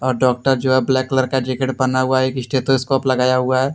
Doctor जो हैब्लैक colour का जैकेट पहना हुआ हैएक स्टेथोस्कोप लगाया हुआ है।